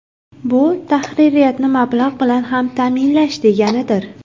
Bu tahririyatni mablag‘ bilan ta’minlash ham deganidir.